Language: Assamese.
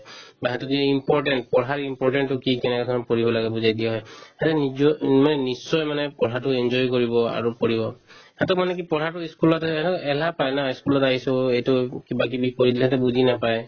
বা সিহঁতৰ যদি important পঢ়াৰ important তো কি কেনেকেধৰণত পঢ়িব লাগে বুজাই দিয়া হয় খালি নিজৰ মানে নিশ্চয় মানে পঢ়াতো enjoy কৰিব আৰু পঢ়িব সিহঁতৰ মানে কি পঢ়াতো ই school তে হয় haa এলাহ পাই না ই school ত আহিছো এইটো কিবাকিবি কৈ দিলে সিহঁতে বুজি নাপায়